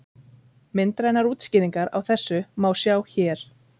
Myndrænar útskýringar á þessu má sjá hér.